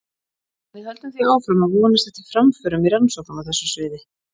við höldum því áfram að vonast eftir framförum í rannsóknum á þessu sviði